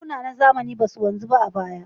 Bankuna na zamani ba su wanzu ba a baya.